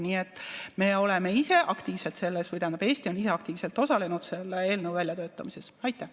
Nii et me oleme ise aktiivselt selles, või tähendab, Eesti on ise aktiivselt selle eelnõu väljatöötamisel osalenud.